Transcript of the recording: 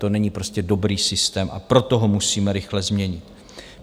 To není prostě dobrý systém, a proto ho musíme rychle změnit.